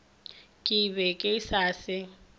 ke be ke sa se